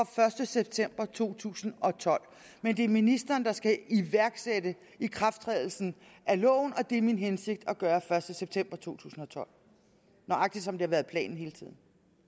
første september to tusind og tolv men det er ministeren der skal iværksætte ikrafttrædelsen af loven og det er min hensigt at gøre første september to tusind og tolv nøjagtig som det har været planen hele tiden